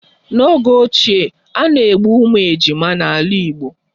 N'oge ochie, a na-egbu ụmụ ejima n'ala Igbo